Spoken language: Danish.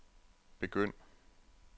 begynd